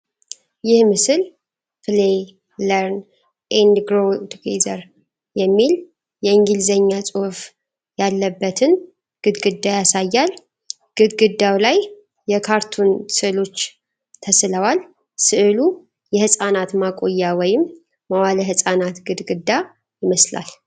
ይህ ምስል "Play, Learn and Grow Together" የሚል የእንግሊዝኛ ጽሑፍ ያለበትን ግድግዳ ያሳያል:: ግድግዳው ላይ የካርቱን ሥዕሎች ተሥለዋል:: ሥዕሉ የሕፃናት ማቆያ ወይም መዋዕለ ሕፃናት ግድግዳ ይመስላል::